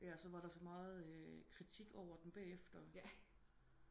Ja så var der så meget kritik over den bagefter